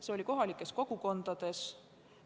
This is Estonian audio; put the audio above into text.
Seda esines kohalikes kogukondades.